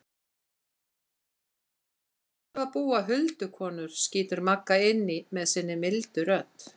Þar áttu að búa huldukonur, skýtur Magga inn í með sinni mildu rödd.